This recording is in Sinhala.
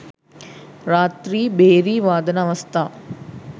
රාත්‍රී භේරි වාදන අවස්ථා